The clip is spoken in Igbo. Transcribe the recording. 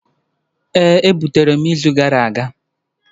Ee e butere m izu gara aga